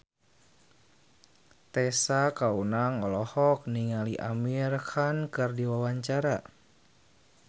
Tessa Kaunang olohok ningali Amir Khan keur diwawancara